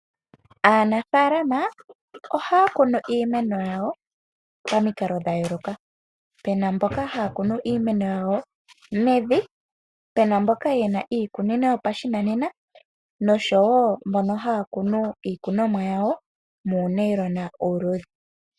Aanafaalama ohaya kunu iimeno yawo pamikalo dha yooloka. Pe na mboka haya kunu iimeno yawo mevi, pe na mboka ye na iikunino yawo yopashinanena noshowo mbono haya kunu iikunomwa yawo muunayilona uuluudhe.